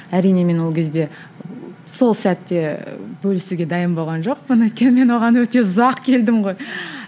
әрине мен ол кезде сол сәтте бөлісуге дайын болған жоқпын өйткені мен оған өте ұзақ келдім ғой